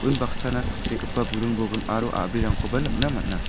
unbaksana tangsekgipa burung bolgrim aro a·brirangkoba nikna man·a.